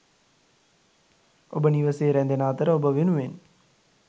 ඔබ නිවසේ ‍රැදෙන අතර ඔබ වෙනුවෙන් ...